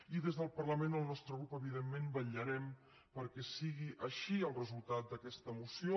i des del parlament el nostre grup evidentment vetllarem perquè sigui així el resultat d’aquesta moció